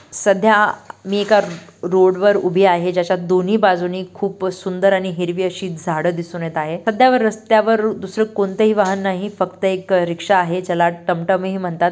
सध्या मी एका रोड वर उभी आहे ज्याच्या दोन्ही बाजूंनी खूप सुंदर आणि हिरवी अशी झाड दिसून येत आहे. रस्त्यावर दुसर कोणताही वाहन नाही फक्त एक रिक्षा आहे ज्याला टम टम ही म्हणतात.